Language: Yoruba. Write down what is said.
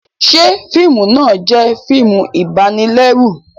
Ṣe fiimu náà jẹ fíìmù ibanilẹru?